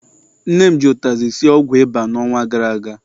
Nne m ji akwụkwọ ụtazị sie ọgwụ ịba n'ọnwa gara aga.